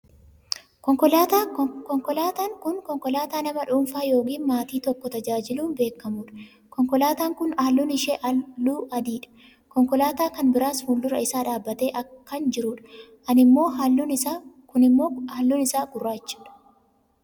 konkolaataa, konkolaataan kun konkolaataa nama dhuunfaa yookaan maatii tokkko tajaajilun beekamtudha. konkolaataaan kun halluun ishee halluu adii dha. konkolaataan kan biraas fuuldura isaa dhaabbatee kkan jirudha. inni ammoo halluun isaa gurraachadha.